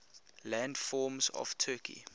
landforms of turkey